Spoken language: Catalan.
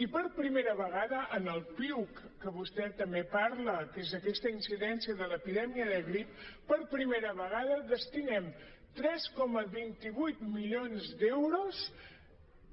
i per primera vegada en el piuc que vostè també en parla que és aquesta incidència de l’epidèmia de grip per primera vegada destinem tres coma vint vuit milions d’euros